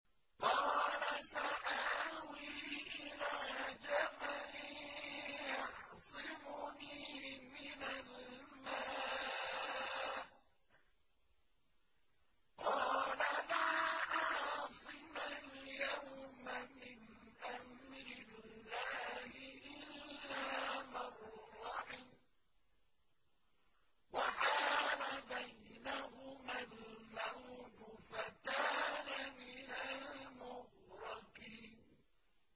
قَالَ سَآوِي إِلَىٰ جَبَلٍ يَعْصِمُنِي مِنَ الْمَاءِ ۚ قَالَ لَا عَاصِمَ الْيَوْمَ مِنْ أَمْرِ اللَّهِ إِلَّا مَن رَّحِمَ ۚ وَحَالَ بَيْنَهُمَا الْمَوْجُ فَكَانَ مِنَ الْمُغْرَقِينَ